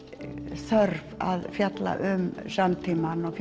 þörf að fjalla um samtímann og